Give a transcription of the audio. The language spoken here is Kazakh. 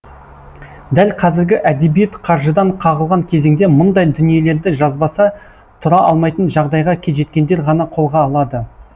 дәл қазіргі әдебиет қаржыдан қағылған кезеңде мұндай дүниелерді жазбаса тұра алмайтын жағдайға жеткендер ғана қолға алады